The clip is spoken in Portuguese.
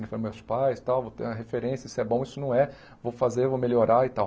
Ele foi, meus pais, tal, vou ter uma referência, isso é bom, isso não é, vou fazer, vou melhorar e tal.